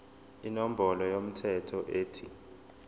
inombolo yomthelo ethi